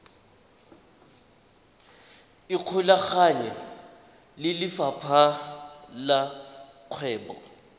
ikgolaganye le lefapha la kgwebo